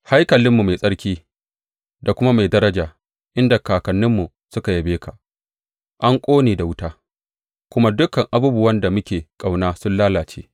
Haikalinmu mai tsarki da kuma mai daraja, inda kakanninmu suka yabe ka, an ƙone da wuta, kuma dukan abubuwan da muke ƙauna sun lalace.